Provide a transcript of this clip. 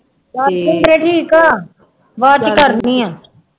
ਚੱਲ ਸ਼ਿਦਰੇ ਠੀਕ ਹੈ, ਬਾਅਦ ਚ ਕਰਦੀ ਹਾਂ